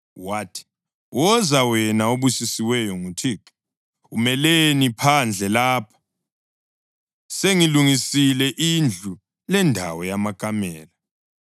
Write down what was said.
Wathi, “Woza, wena obusisiweyo nguThixo. Umeleni phandle lapha? Sengilungisile indlu lendawo yamakamela.”